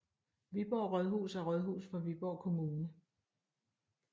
Viborg Rådhus er rådhus for Viborg Kommune